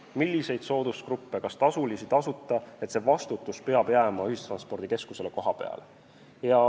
Milliseid soodustusi luua, kas miski on tasuline või tasuta – see vastutus peab jääma ühistranspordikeskusele kohapeal.